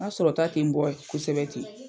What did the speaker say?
N ka sɔrɔta ten n bɔ kosɛbɛ tɛ.